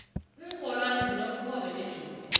inxholwane zinobukhobe nejuba